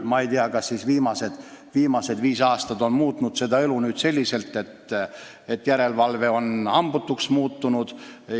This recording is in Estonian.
Ma ei tea, kas viimase viie aasta jooksul on elu niimoodi läinud, et järelevalve on hambutuks muutunud.